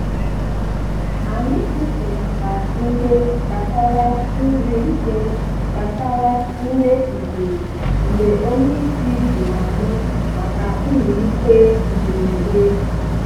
Ànyị kwụsịnata ìhè gbasàrà nri ìhè gbasàrà nri ehihie mgbe ònye ísì jụrụ ànyị maka mmelite mberede